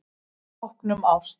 Tákn um ást